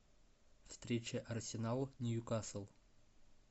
встреча арсенал ньюкасл